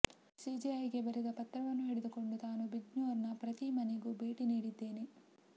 ಸಿಜೆಐಗೆ ಬರೆದ ಪತ್ರವನ್ನು ಹಿಡಿದುಕೊಂಡು ತಾನು ಬಿಜ್ನೋರ್ನ ಪ್ರತೀ ಮನೆಗೂ ಭೇಟಿ ನೀಡಿದ್ದೇನೆ